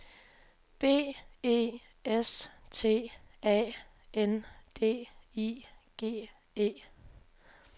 B E S T A N D I G E